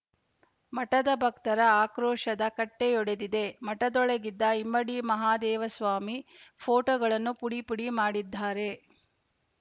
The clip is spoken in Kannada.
ಮಠದ ಭಕ್ತರ ಆಕ್ರೋಶದ ಕಟ್ಟೆಯೊಡೆದಿದೆ ಮಠದೊಳಗಿದ್ದ ಇಮ್ಮಡಿ ಮಹಾದೇವಸ್ವಾಮಿ ಫೋಟೋಗಳನ್ನು ಪುಡಿ ಪುಡಿ ಮಾಡಿದ್ದಾರೆ